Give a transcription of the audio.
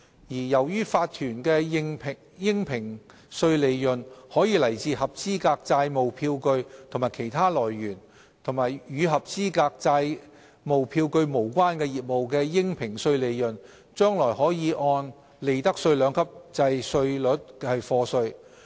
由於法團的應評稅利潤可來自合資格債務票據及其他來源，與合資格債務票據無關的業務的應評稅利潤，將來可按利得稅兩級制稅率課稅。